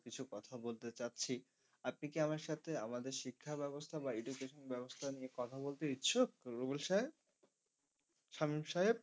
কিছু কথা বলতে চাইছি আপনি কি আমার সাথে শিক্ষা ব্যবস্থা বা education ব্যবস্থা নিয়ে কথা বলতে ইচ্ছুক রুবেল সাহেব? সামীম সাহেব